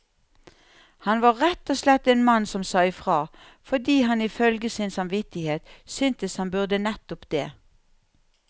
Han var rett og slett en mann som sa ifra, fordi han ifølge sin samvittighet syntes han burde nettopp det.